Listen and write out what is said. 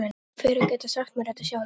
Ég fer að geta sagt mér þetta sjálf.